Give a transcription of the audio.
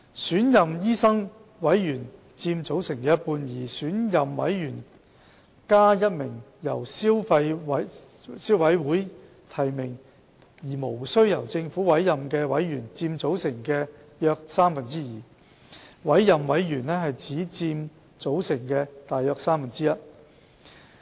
選任醫生委員佔醫委會組成人數的一半；選任委員再加一名由消委會提名而無須由政府委任的委員，合佔醫委會組成人數的約三分之二；委任委員只佔組成約三分之一。